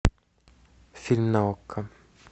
фильм на окко